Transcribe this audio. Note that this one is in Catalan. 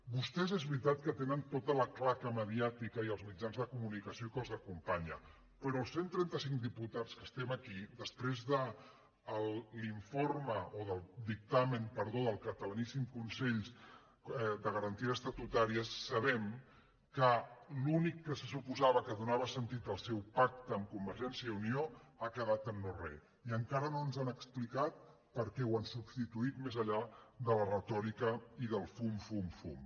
vostès és veritat que tenen tota la claca mediàtica i els mitjans de comunicació que els acompanyen però els cent trenta cinc diputats que estem aquí després del dictamen del catalaníssim consell de garan ties estatutàries sabem que l’únic que se suposava que donava sentit al seu pacte amb convergència i unió ha quedat en no re i encara no ens han explicat per què ho han substituït més enllà de la retòrica i del fum fum fum